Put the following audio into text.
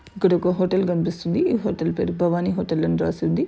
ఇక్కడ ఒక హోటల్ కనిపిస్తుంది. హోటల్ పేరు భవాని హోటల్ అని రాసు--